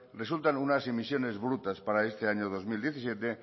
resultan unas emisiones brutas para este año dos mil diecisiete